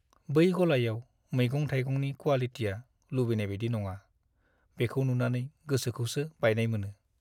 बै गलायाव मैगं-थाइगंनि क्वालिटिया लुबैनाय बायदि नङा, बेखौ नुनानै गोसोखौसो बायनाय मोनो।